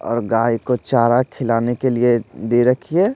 और गाय को चारा खिलाने के लिए दे रखी है।